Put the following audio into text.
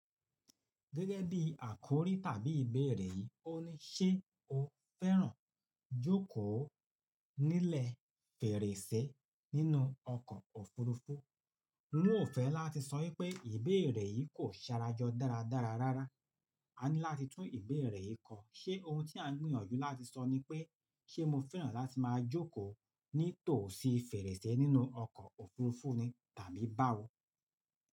Gẹ́gẹ́ bí àkọ́rí tàbí ìbéèrè yìí, ó ní, "Ṣé o fẹ́ràn jókòó nílẹ̀ fèrèsé nínú ọkọ̀ òfuurufú?" Mo ò fẹ́ láti sọ wípé ìbéèrè yìí kò sárajọ dáradára rárá. A ní láti tún ìbéèrẹ́ yìí kọ. Ṣé ohun tí à ń gbìyànjú láti sọ ní pé, "Ṣé mo fẹ́ràn láti máa jókòó nítòsí fèrèsé nínú ọkọ̀ òfuurufú ni?" Tàbí báwo?